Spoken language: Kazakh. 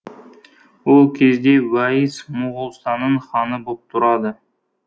ол кезде уәйіс моғолстанның ханы боп тұрады